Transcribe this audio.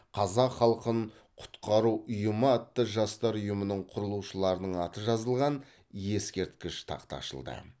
қазақ халқын құтқару ұйымы атты жастар ұйымын құрылушыларының аты жазылған ескерткіш тақта ашылды